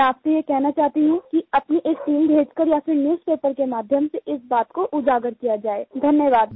मैं आपसे ये कहना चाहती हूँ कि अपनी एक टीम भेजकर या फिर न्यूज़पेपर के माध्यम से इस बात को उजागर किया जाए धन्यवाद